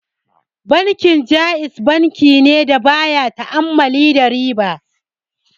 Bankin Ja'iz bankine da baya ta'ammali da riba.